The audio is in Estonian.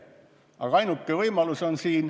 Aga ainuke võimalus on siin ...